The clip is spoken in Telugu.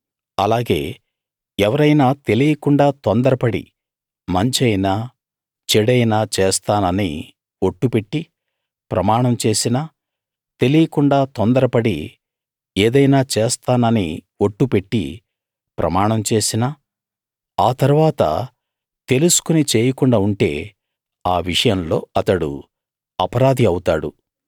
అలాగే ఎవరైనా తెలియకుండా తొందరపడి మంచైనా చెడైనా చేస్తానని ఒట్టు పెట్టి ప్రమాణం చేసినా తెలియకుండా తొందరపడి ఏదైనా చేస్తానని ఒట్టు పెట్టి ప్రమాణం చేసినా ఆ తరువాత తెలుసుకుని చేయకుండా ఉంటే ఆ విషయంలో అతడు అపరాధి అవుతాడు